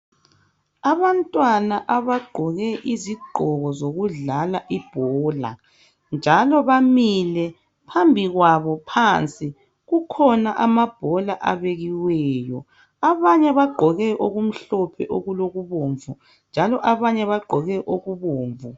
Abantwana abagqoke izigqoko zokudlala ibhola njalo bamili phambi kwabo phansi kukhona amabhola abanye bagqoke okumhlophe okulokubomvu abanye bagqoke okubomvu.